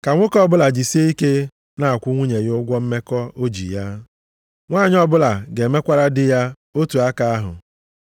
Ka nwoke ọbụla jisie ike na-akwụ nwunye ya ụgwọ mmekọ o ji ya. Nwanyị ọbụla ga-emekwara di ya otu aka ahụ.